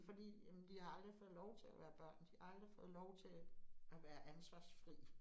Fordi jamen de har aldrig fået lov til at være børn, de har aldrig fået lov til at være ansvarsfri